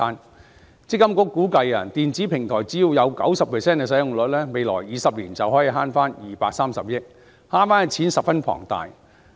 強制性公積金計劃管理局估計電子平台只要有 90% 的使用率，未來20年便可以節省230億元，節省的數目十分龐大。